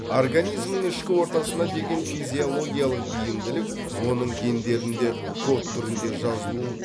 организмнің ішкі ортасына деген физиологиялық бейімділік оның гендерінде код түрінде жазылу